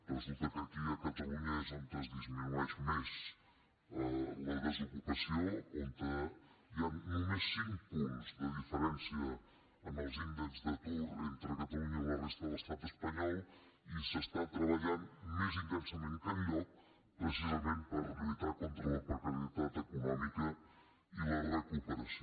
resulta que aquí a catalunya és on es disminueix més la desocupació on hi han només cinc punts de diferència en els índexs d’atur entre catalunya i la resta de l’estat espanyol i s’està treballant més intensament que enlloc precisament per lluitar contra la precarietat econòmica i la recuperació